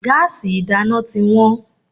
Gáàsì ìdáná tí wọ́n.